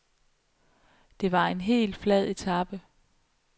Det var en helt flad etape.